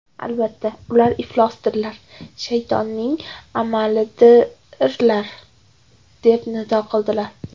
Albatta, ular iflosdirlar, shaytonning amalidirlar!” deb nido qildilar.